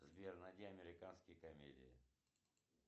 сбер найди американские комедии